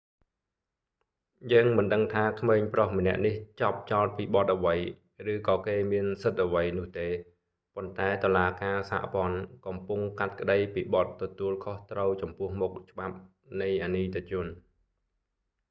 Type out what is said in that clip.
យើងមិនដឹងថាក្មេងប្រុសម្នាក់នេះជាប់ចោទពីបទអ្វី ឬក៏គេមានសិទ្ធិអ្វីនោះទេ ប៉ុន្តែតុលាការសហព័ន្ធកំពុងកាត់ក្តីពីបទទទួលខុសត្រូវចំពោះមុខច្បាប់នៃអនីតិជន